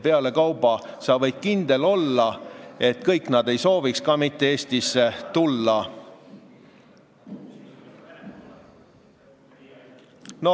Pealekauba võid sa kindel olla, et kõik nad ei soovi Eestisse tulla.